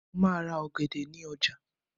mo ma ra ògèdè ni oja